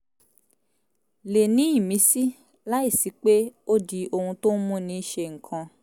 le ní ìmísí láìsí pé ó di ohun tó ń múni ṣe nǹkan